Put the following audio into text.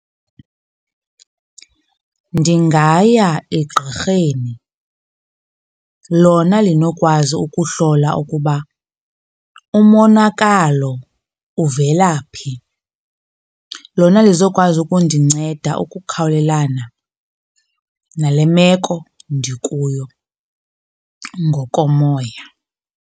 Ndingaya egqirheni, lona linokwazi ukuhlola ukuba umonakalo uvela phi. Lona lizokwazi ukundinceda ukukhawulelana nale meko ndikuyo ngokomoya.